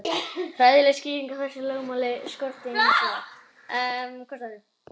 Fræðilega skýringu á þessu lögmáli skorti hins vegar.